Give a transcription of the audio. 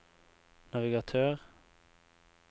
navigatør